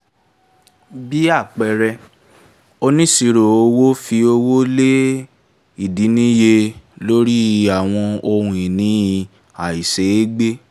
bí àpẹẹrẹ onisiroowo fi owó lé ìdínníye lórí àwọn ohun ìní àìṣeégbé.